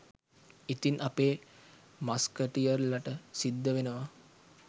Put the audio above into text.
ඉතින් අපේ මස්කටියර්ලට සිද්ධ වෙනවා